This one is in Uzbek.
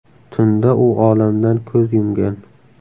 Tunda u olamdan ko‘z yumgan.